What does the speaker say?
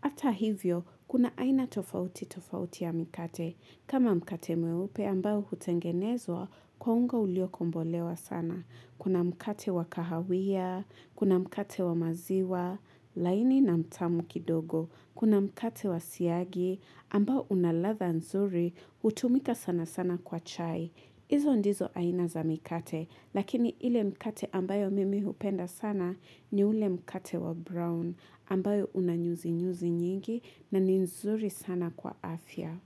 Hatahivyo, kuna aina tofauti tofauti ya mikate, kama mkate mweupe ambao hutengenezwa kwa ungo ulio kombolewa sana. Kuna mkate wa kahawia, kuna mkate wa maziwa, laini na mtamu kidogo. Kuna mkate wa siagi, ambao una latha nzuri, hutumika sana sana kwa chai. Hizo ndizo aina za mikate, lakini ile mkate ambao mimi hupenda sana ni ule mkate wa brown, ambao unanyuzi nyuzi nyingi na nzuri sana kwa afya.